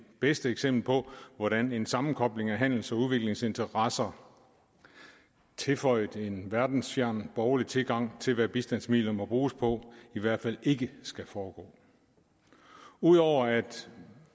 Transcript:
bedste eksempel på hvordan en sammenkobling af handels og udviklingsinteresser tilføjet en verdensfjern borgerlig tilgang til hvad bistandsmidler må bruges på i hvert fald ikke skal foregå ud over at